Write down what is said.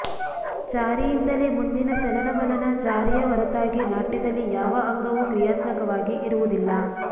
ಚಾರಿಯಿಂದಲೇ ಮುಂದಿನ ಚಲನವಲನ ಚಾರಿಯ ಹೊರತಾಗಿ ನಾಟ್ಯದಲ್ಲಿ ಯಾವ ಅಂಗವೂ ಕ್ರಿಯಾತ್ಮಕವಾಗಿ ಇರುವುದಿಲ್ಲ